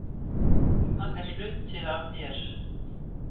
Hann er hluti af mér.